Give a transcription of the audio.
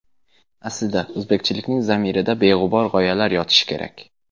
Aslida, o‘zbekchilikning zamirida beg‘ubor g‘oyalar yotishi kerak.